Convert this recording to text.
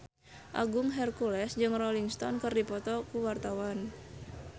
Agung Hercules jeung Rolling Stone keur dipoto ku wartawan